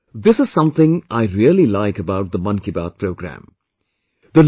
Friends, this is something I really like about the "Man Ki Baat" programme